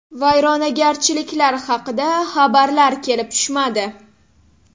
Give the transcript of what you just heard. Vayronagarchiliklar haqida xabarlar kelib tushmadi.